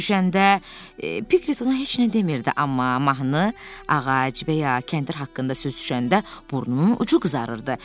Görüşəndə Piqlet ona heç nə demirdi, amma mahnı, ağac və ya kəndir haqqında söz düşəndə burnunun ucu qızarırdı.